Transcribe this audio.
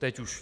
Teď už?